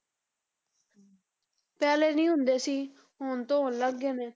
ਪਹਿਲੇ ਨੀ ਹੁੰਦੇ ਸੀ, ਹੁਣ ਤੋ ਹੋਣ ਲੱਗ ਗਏ ਨੇ।